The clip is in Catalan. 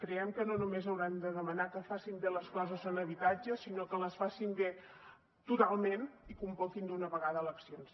creiem que no només haurem de demanar que facin bé les coses en habitatge sinó que les facin bé totalment i convoquin d’una vegada eleccions